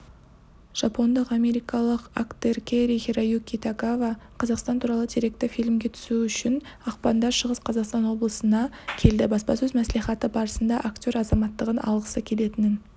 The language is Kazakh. жапондық-америкалық актеркэри-хироюки тагава қазақстан туралы деректі фильмге түсу үшін ақпанда шығыс қазақстан облысына келді баспасөз мәслихаты барысында актер азаматтығын алғысы келетінін